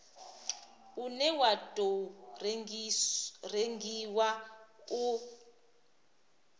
une wa tou rengiwa u